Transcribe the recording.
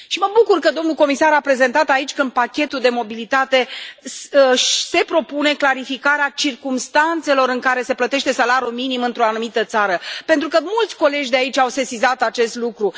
Și mă bucur că domnul comisar a prezentat aici că în pachetul de mobilitate se propune clarificarea circumstanțelor în care se plătește salariul minim într o anumită țară, pentru că mulți colegi de aici au sesizat acest lucru.